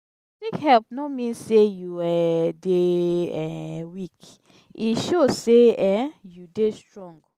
to seek help no mean sey you um dey um weak; e show sey um you dey strong.to seek help no mean sey you um dey um weak; e show sey um you dey strong.